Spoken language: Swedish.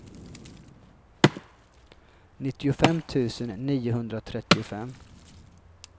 nittiofem tusen niohundratrettiofem